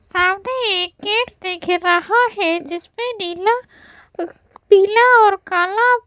सामने एक गेट देख रहा है जिसमें नीला अक पीला और काला --.